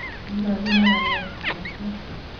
kikochi neranet kiy netyaa?